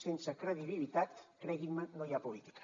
sense credibilitat creguin me no hi ha política